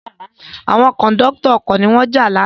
Àwọn Kòńdọ́tọ̀ ọkọ̀ ni wọ́n jà lánàá